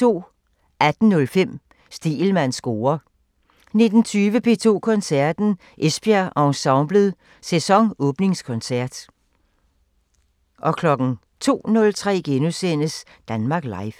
18:05: Stegelmanns score 19:20: P2 Koncerten – Esbjerg Ensemblet – sæsonåbningskoncert 02:03: Danmark Live *